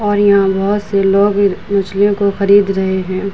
और यहाँ बहोत से लोग म मछलियों को खरीद रहे है ।